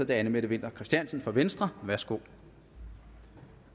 det er anne mette winther christiansen fra venstre værsgo